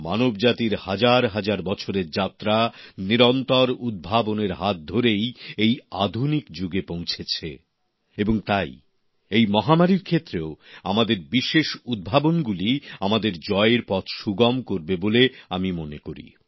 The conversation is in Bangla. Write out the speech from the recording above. মানবজাতির হাজার হাজার বছরের যাত্রা নিরন্তর উদ্ভাবনের হাত ধরেই এই আধুনিক যুগে পৌঁছেছে এবং তাই এই মহামারীর ক্ষেত্রেও আমাদের বিশেষ উদ্ভাবনগুলিই আমাদের জয়ের পথ সুগম করবে বলে আমি মনে করি